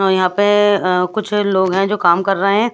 जो यहाँ पे कुछ लोग है जो काम कर रहे है।